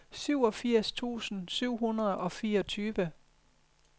seksogfirs tusind syv hundrede og fireogtyve